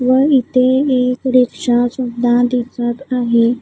व इथे एक रिक्षा सुद्धा दिसत आहे.